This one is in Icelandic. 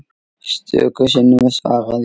Stöku sinnum svaraði ég.